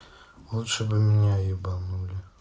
лучше бы меня ебанули